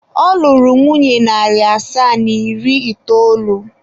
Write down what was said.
Ọ lụrụ nwunye narị asaa na iri itoolu.